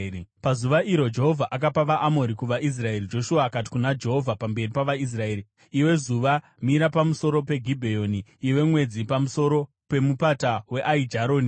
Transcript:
Pazuva iro Jehovha akapa vaAmori kuvaIsraeri, Joshua akati kuna Jehovha pamberi pavaIsraeri: “Iwe zuva, mira pamusoro peGibheoni, Iwe mwedzi, pamusoro pemupata weAijaroni.”